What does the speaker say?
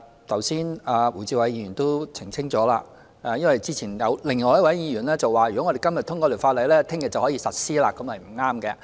剛才胡志偉議員已澄清——因為之前有另一位議員說，如果今天通過《條例草案》，明天便可以實施，這是不對的。